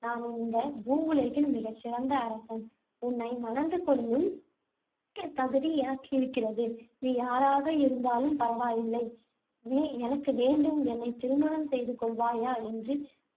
நான் இந்த பூவுலகில் மிகச்சிறந்த அரசன். உன்னை மணந்து கொள்ளும் தகுதி எனக்கு இருக்கிறது. நீ யாராக இருந்தாலும் பரவாயில்லை. நீ எனக்கு வேண்டும். என்னைத் திருமணம் செய்து கொள்வாயா என்று.